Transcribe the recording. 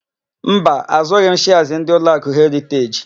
Mba, àzụ́ghị m shịas ndị Ụlọakụ Heriteji.